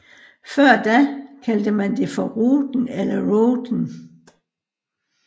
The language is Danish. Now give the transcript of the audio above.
Før da kaldte man det for Ruten eller Routen